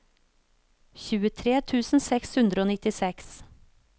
tjuetre tusen seks hundre og nittiseks